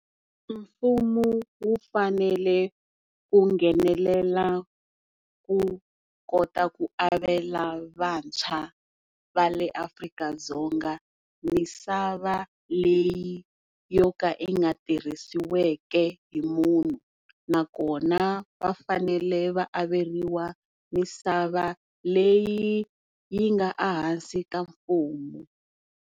Mfumo wu fanele u nghenelela wu kota ku avela vantshwa va le Afrika-Dzonga misava leyi yo ka yi nga tirhisiweke hi munhu nakona va fanele va averiwa misava leyi yi nga ehansi ka mfumo.